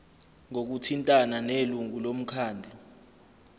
ngokuthintana nelungu lomkhandlu